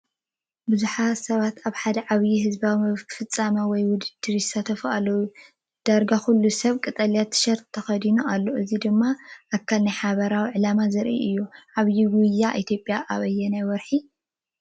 ብዙሓት ሰባት ኣብ ሓደ ዓብይ ህዝባዊ ፍጻመ ወይ ውድድር ይሳተፉ ኣለዉ። ዳርጋ ኩሉ ሰብ ቀጠልያ ቲሸርት ተኸዲኑ ኣሎ። እዚ ድማ ኣካል ናይ ሓባር ዕላማ ዘርኢ እዩ። ዓባይ ጉያ ኢትዮጵያ ኣብ ኣየናይ ወርሒ እዩ ዝካየድ?